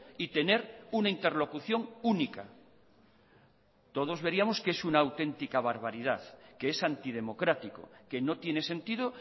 y tener una interlocución única todos veríamos que es una auténtica barbaridad que es antidemocrático que no tiene sentido